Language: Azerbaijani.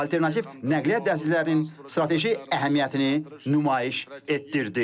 Alternativ nəqliyyat dəhlizlərin strateji əhəmiyyətini nümayiş etdirdi.